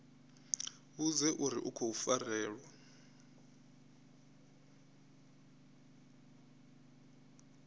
vhudze uri u khou farelwa